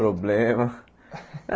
Problema.